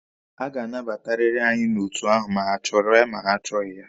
A ga-anabatariri anyị n'otu ahụ ma ha chọrọ ya ma ha achọghị ya.